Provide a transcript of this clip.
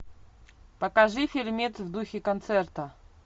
покажи фильмец в духе концерта